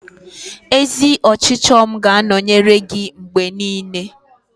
Ezi ọchịchọ m ga-anọnyere gị mgbe niile.